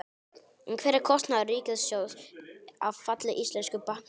En hver er kostnaður ríkissjóðs af falli íslensku bankanna?